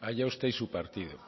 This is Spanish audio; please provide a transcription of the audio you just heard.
allá usted y su partido